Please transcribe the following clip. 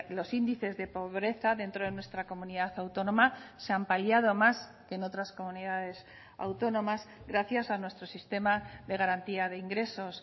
los índices de pobreza dentro de nuestra comunidad autónoma se han paliado más que en otras comunidades autónomas gracias a nuestro sistema de garantía de ingresos